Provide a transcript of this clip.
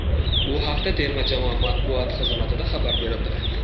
Bu haqda terma jamoa matbuot xizmatida xabar berildi .